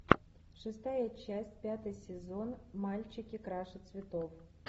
шестая часть пятый сезон мальчики краше цветов